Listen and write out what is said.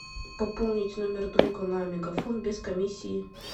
пополнить номер друга на мегафон без комиссии